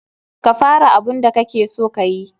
Ka fara abun da kakeso kayi.